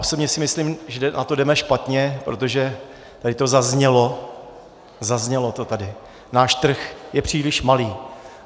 Osobně si myslím, že na to jdeme špatně, protože tady to zaznělo - zaznělo to tady - náš trh je příliš malý.